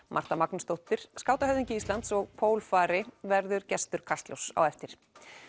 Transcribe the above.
Marta Magnúsdóttir skátahöfðingi Íslands og pólfari verður gestur Kastljóss á eftir